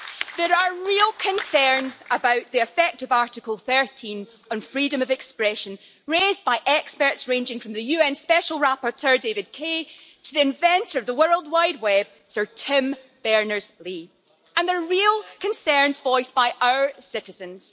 There are real concerns about the effect of Article 13 and freedom of expression, raised by experts ranging from the UN Special Rapporteur, David Kaye, to the inventor of the World Wide Web, Sir Tim Berners Lee, and there are real concerns voiced by our citizens.